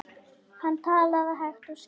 Hann talaði hægt og skýrt.